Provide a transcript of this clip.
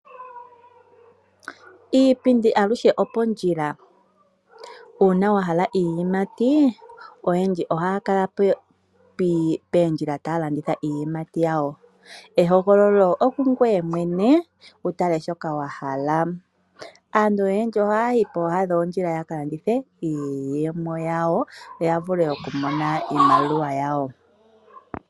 Iipindi aluhe opondjila. Uuna wa hala iiyimati, oyendji ohaya kala pondjila taya landitha iiyimati yawo. Ehogololo okungoye mwene wu tale shoka wa hala. Aantu oyendji ohaya yi pooha dhoondjila ya ka landithe iiyimati yawo yo ya vule okumona iimaliwa yawo.